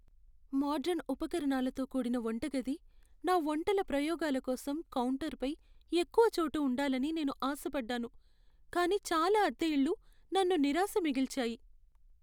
Modern ఉపకరణాలతో కూడిన వంటగది, నా వంటల ప్రయోగాల కోసం కౌంటర్పై ఎక్కువ చోటు ఉండాలని నేను ఆశపడ్డాను, కానీ చాలా అద్దె ఇళ్ళు నన్ను నిరాశ మిగిల్చాయి.